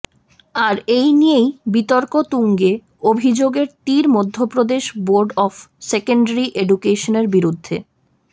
আর এই নিয়েই বিতর্ক তুঙ্গে অভিযোগের তির মধ্যপ্রদেশ বোর্ড অফ সেকেন্ডারি এডুকেশনের বিরুদ্ধে